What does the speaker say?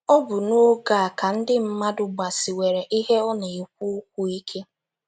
Ọ bụ n’oge a ka ndị mmadụ gbasiwere ihe ọ na - ekwu ụkwụ ike.